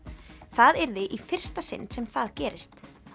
það yrði í fyrsta sinn sem það gerist